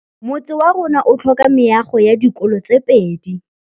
Motse warona o tlhoka meago ya dikolô tse pedi.